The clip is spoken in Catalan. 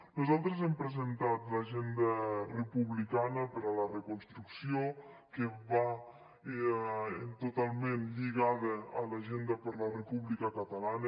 nosaltres hem presentat l’agenda republicana per a la reconstrucció que va totalment lligada a l’agenda per la república catalana